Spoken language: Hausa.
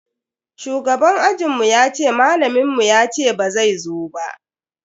Shugaban ajinmu yace malamin mu yace bazai zo ba.